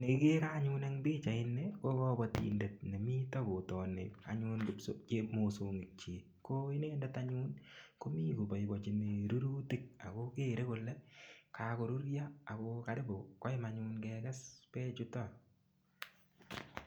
Nekikere anyun eng pichait ni ko kobotindet nemito kotini anyun mosongik chi ko inendet anyun komi koboibochini rurutik ako kere kole kakorurio ako karibu koim anyun kekes bechuto.